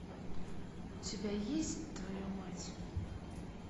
у тебя есть твою мать